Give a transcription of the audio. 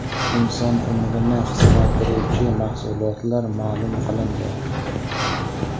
Inson umrini qisqartiruvchi mahsulotlar ma’lum qilindi.